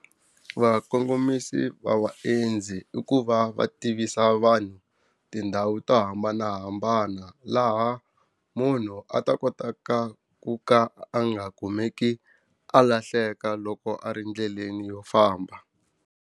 Vakongomisi va vaendzi i ku va va tivisa vanhu tindhawu to hambanahambana laha munhu a ta kota ka ku ka a nga kumeki a lahleka loko a ri endleleni yo famba.